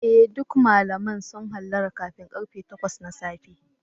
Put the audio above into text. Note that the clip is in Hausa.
Eh duk malamai sun hallara kafin karfe takwas na safe.